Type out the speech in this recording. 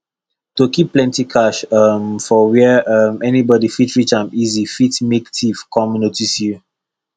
to keep plenty cash um for where um anybody fit reach am easy fit make thief come notice you